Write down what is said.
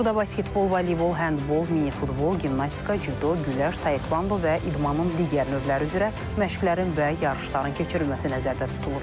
Burda basketbol, voleybol, həndbol, minifutbol, gimnastika, cüdo, güləş, taekvondo və idmanın digər növləri üzrə məşqlərin və yarışların keçirilməsi nəzərdə tutulur.